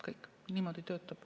Kõik, niimoodi töötab.